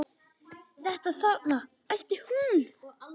Þetta þarna, æpti hún.